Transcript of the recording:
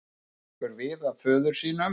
Tekur við af föður sínum